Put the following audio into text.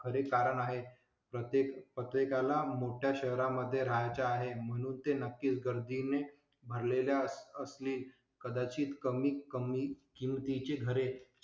खरे कारण आहे. प्रत्येक प्रत्येकाला मोठ्या शहरा मध्ये राहायचं आहे म्हणून ते नक्कीच गर्दी ने भरलेल्या असली कदाचित कमी कमी किमती ची घरे चांगल्या